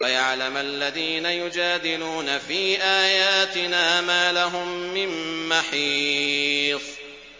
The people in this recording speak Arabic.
وَيَعْلَمَ الَّذِينَ يُجَادِلُونَ فِي آيَاتِنَا مَا لَهُم مِّن مَّحِيصٍ